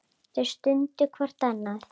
Þau studdu hvort annað.